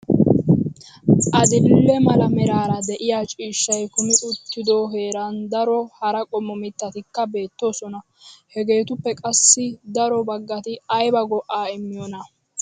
Adil"e mala meraara de'iyaa ciishshay kumi uttido heeran daro hara qommo mittatikka beettoosona. Hegetuppe qassi daro baggati aybba go"a immiyoona?